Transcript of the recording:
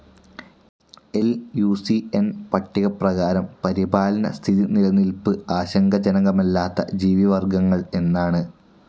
ൽ യൂസി ന്‌ പട്ടികപ്രകാരം പരിപാലന സ്ഥിതി നിലനിൽപ്പ് ആശങ്കജനകമല്ലാത്ത ജീവിവർഗങ്ങൾ എന്നാണ്.